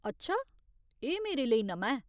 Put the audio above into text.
अच्छा, एह् मेरे लेई नमां ऐ।